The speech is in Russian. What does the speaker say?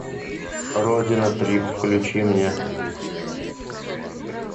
родина трип включи мне